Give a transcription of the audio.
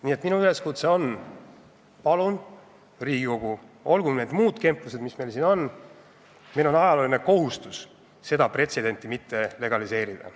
Nii et minu üleskutse on: palun, Riigikogu, olgu meie muud kemplused, mis nad on, meil on ajalooline kohustus seda pretsedenti mitte legaliseerida.